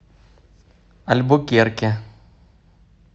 альбукерке